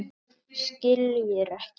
Skiljir ekki.